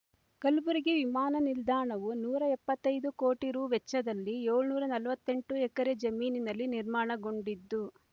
ಕಲ್ಬುರ್ಗಿ ವಿಮಾನ ನಿಲ್ದಾಣವು ನೂರ ಎಪ್ಪತ್ತೈದು ಕೋಟಿ ರೂ ವೆಚ್ಚದಲ್ಲಿ ಏಳುನೂರ ನಲವತ್ತೆಂಟು ಎಕರೆ ಜಮೀನಿನಲ್ಲಿ ನಿರ್ಮಾಣಗೊಂಡಿದ್ದು